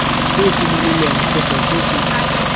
se simololwang kgotsa se se